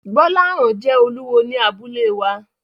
Gbolahan jẹ́ olúwo ní abúlé wa.